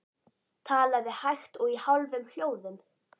Talaði hægt og í hálfum hljóðum.